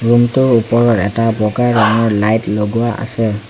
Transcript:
Room টোৰ ওপৰত এটা বগা ৰঙৰ লাইট লগোৱা আছে।